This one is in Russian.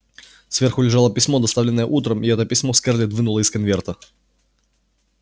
сверху лежало письмо доставленное утром и это письмо скарлетт вынула из конверта